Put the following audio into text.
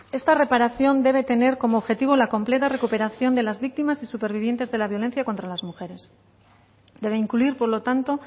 esta reparación debe tener como objetivo la completa recuperación de las víctimas y supervivientes de la violencia contra las mujeres debe incluir por lo tanto